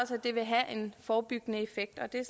det vil have en forebyggende effekt og det er